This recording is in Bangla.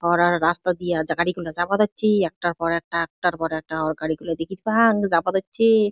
অর আর রাস্তা দিয়া জাগাডিগুলা যাবা ধরছি। একটার পর একটা একটার একটা আরগাড়ি গুলো দেখিচান যাবা দেখছি।